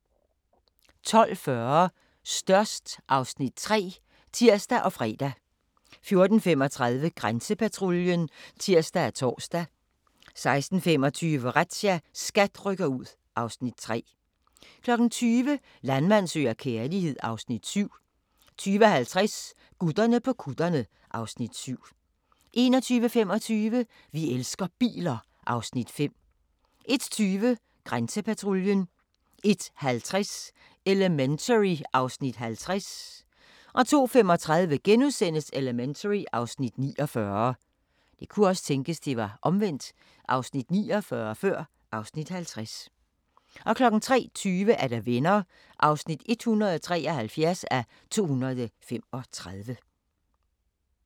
12:40: Størst (Afs. 3)(tir og fre) 14:35: Grænsepatruljen (tir og tor) 16:25: Razzia – SKAT rykker ud (Afs. 3) 20:00: Landmand søger kærlighed (Afs. 7) 20:50: Gutterne på kutterne (Afs. 7) 21:25: Vi elsker biler (Afs. 5) 01:20: Grænsepatruljen 01:50: Elementary (Afs. 50) 02:35: Elementary (Afs. 49)* 03:20: Venner (173:235)